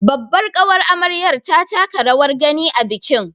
Babbar ƙawar amaryar ta taka rawar gani a bikin